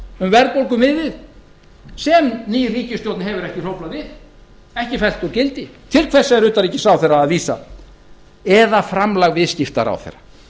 um verðbólguviðmið sem ný ríkisstjórn hefur ekki hróflað við ekki fært úr gildi til hvers er hæstvirtur utanríkisráðherra að vísa eða framlag viðskiptaráðherra